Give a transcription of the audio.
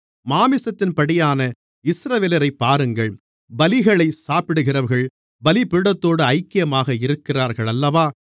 மாம்சத்தின்படியான இஸ்ரவேலரைப் பாருங்கள் பலிகளைச் சாப்பிடுகிறவர்கள் பலிபீடத்தோடு ஐக்கியமாக இருக்கிறார்களல்லவா